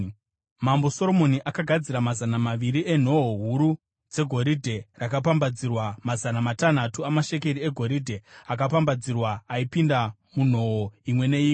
Mambo Soromoni akagadzira mazana maviri enhoo huru dzegoridhe rakapambadzirwa mazana matanhatu amashekeri egoridhe akapambadzirwa aipinda munhoo imwe neimwe.